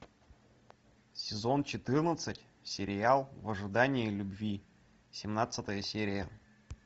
сезон четырнадцать сериал в ожидании любви семнадцатая серия